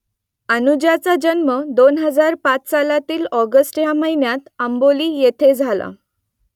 अनुजाचा जन्म दोन हजार पाच सालातील ऑगस्ट या महिन्यात आंबोली येथे झाला